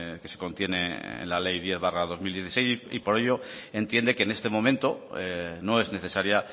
que se contiene en la ley diez barra dos mil dieciséis y por ello entiende que en este momento no es necesaria